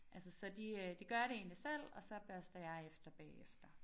Altså så de øh de gør det egentlig selv og så børster jeg efter bagefter